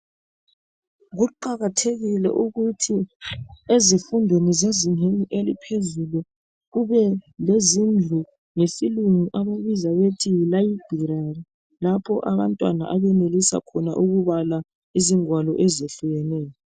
Kuqakathekile ukuthi ezifundweni zezingeni eliphezulu kube lezindlu abayibiza besithi yisiphalangwalo lapho abantwana abenelisa ukubala khona izingwalo ezehlukeneyo .